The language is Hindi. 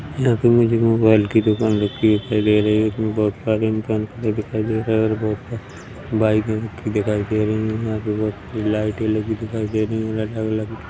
यहाँ पे मुझे मोबाईल की दुकान लिखी दिखाई दे रही है इसमें बोहोत सारी दुकान मुझे दिखाई दे रही है और बोहोत सारी बाइकें रखी दिखाई दे रही है यहाँ पे बोहोत लाइटें लगी दिखाई दे रही है --